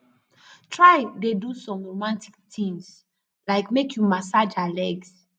try dey do som romatik tins lyk mek yu massage her legs